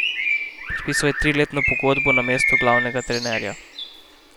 Podpisal je triletno pogodbo na mestu glavnega trenerja.